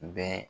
Bɛɛ